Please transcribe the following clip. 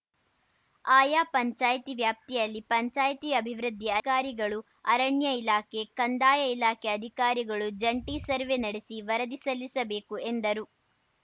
ಆಯಾ ಪಂಚಾಯಿತಿ ವ್ಯಾಪ್ತಿಯಲ್ಲಿ ಪಂಚಾಯಿತಿ ಅಭಿವೃದ್ಧಿ ಅಧಿರಿಗಳು ಅರಣ್ಯ ಇಲಾಖೆ ಕಂದಾಯ ಇಲಾಖೆ ಅಧಿಕಾರಿಗಳು ಜಂಟೀ ಸರ್ವೆ ನಡೆಸಿ ವರದಿ ಸಲ್ಲಿಸಬೇಕು ಎಂದರು